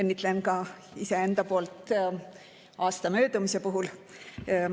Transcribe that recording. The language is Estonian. Õnnitlen ka enda poolt aasta möödumise puhul.